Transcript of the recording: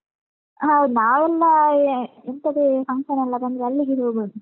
ಹೌದು ನಾವೆಲ್ಲ ಎ~ ಎಂತದೇ function ನೆಲ್ಲ ಬಂದ್ರೆ ಅಲ್ಲಿಗೇ ಹೋಗುದು.